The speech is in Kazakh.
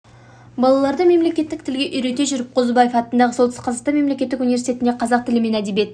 балаларды мемлекеттік тілге үйрете жүріп қозыбаев атындағы солтүстік қазақстан мемлекеттік университетінде қазақ тілі мен әдебиет